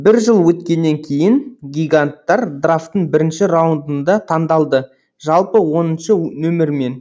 бір жыл өткеннен кейін гиганттар драфтың бірінші раундында таңдалды жалпы оныншы нөмірмен